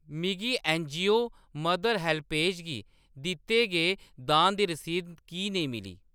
मिगी NGO mother HelpAge गी दित्ते गे दान दी रसीद की नेईं मिली ?